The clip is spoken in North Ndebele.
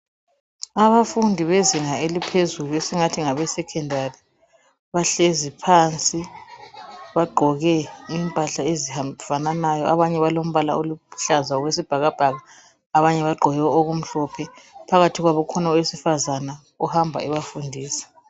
Abafundi bezinga eliphezulu esingathi ngeleSecondary bahlezi phansi bagqoke impahla ezifananayo abanye balombala oluhlaza okwesibhakabhaka abanye bagqoke okumhlophe. Phakathi kwabo ukhona owesifazana ohamba ebafundisa.